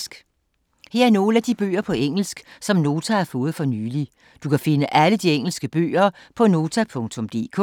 Her er nogle af de bøger på engelsk, som Nota har fået for nylig. Du kan finde alle de engelske bøger på Nota.dk